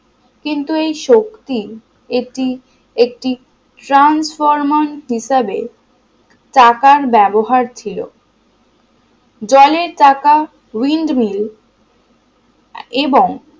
কিন্তু এই শক্তি এটি একটি transformer হিসাবে চাকার ব্যবহার ছিল জলের চাকা windmill এবং